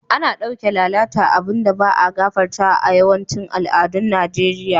Ana dauke lalata abun da ba'a gafartawa a'yawancin al'adun Nijeriya.